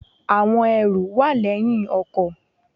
Àwọn ẹrù wà léyìn ọkò